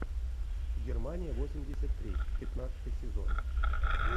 германия восемьдесят три пятнадцатый сезон